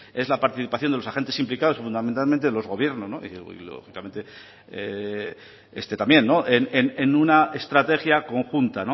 es la participación de los agentes implicados fundamentalmente los gobiernos y lógicamente este también en una estrategia conjunta